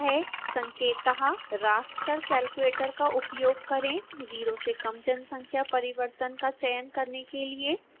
संकेत: raster calculator का उपयोग करें 0 से कम जनसंख्या परिवर्तन का चयन करने के लिए एक एक्स्प्रेशन लिखें